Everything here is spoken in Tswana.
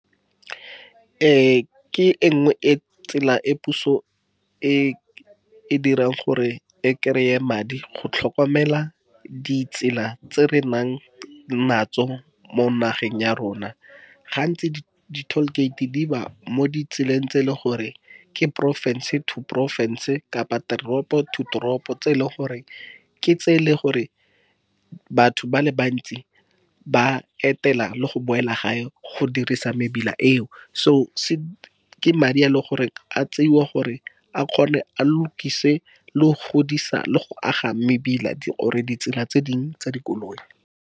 Ke e nngwe e tsela e puso e dirang, gore e kry-e madi go tlhokomela ditsela tse re nang natso mo nageng ya rona. Gantsi, di-toll gate di ba mo ditseleng tse e leng gore ke porofense to porofense, kapa teropo to toropo, tse e leng goreng, ke tse e leng gore batho ba le bantsi ba etela le go boela gae go dirisa mebila eo. Se ke madi a e leng gore a tseiwa, gore a kgone a lokise, le go godisa, le go aga mebila or ditsela tse dingwe tsa dikoloi.